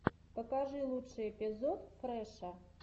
покажи лучший эпизод фрэша